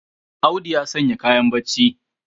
Audu ya sanya kayan barci.